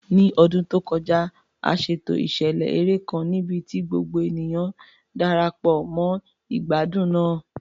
Ní ọdún tó kọjá, a ṣètò ìṣẹ̀lẹ̀ eré kan níbi tí gbogbo ènìyàn Darapọ̀ mọ́ ìgbádùn náà.